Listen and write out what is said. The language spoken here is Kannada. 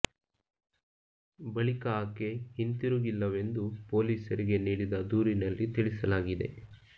ಬಳಿಕ ಆಕೆ ಹಿಂತಿರುಗಿಲ್ಲವೆಂದು ಪೊಲೀ ಸರಿಗೆ ನೀಡಿದ ದೂರಿನಲ್ಲಿ ತಿಳಿಸ ಲಾಗಿದೆ